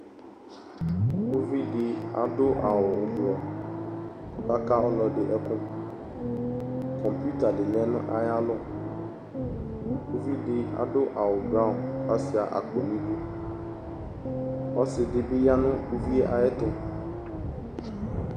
Uvidi adʋ awu ublu, kɔkaka ɔlɔdi ɛkʋKomputer di lɛ nʋ ayalɔ Uvidi adʋ awu blanc kasuia akpo niduƆsidibi ya nʋ uvie ayɛtu